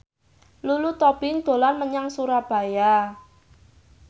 Lulu Tobing dolan menyang Surabaya